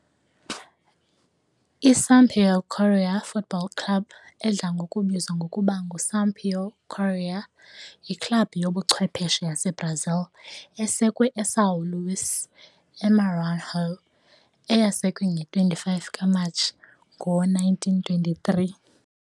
I-Sampaio Corrêa Futebol Clube, edla ngokubizwa ngokuba nguSampaio Corrêa, yiklabhu yobuchwephesha yaseBrazil esekwe eSão Luís, eMaranhão eyasekwa nge-25 kaMatshi ngo-1923.